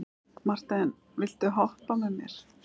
Marthen, viltu hoppa með mér?